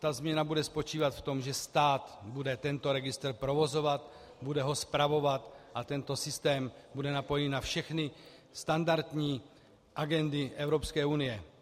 Ta změna bude spočívat v tom, že stát bude tento registr provozovat, bude ho spravovat a tento systém bude napojený na všechny standardní agendy Evropské unie.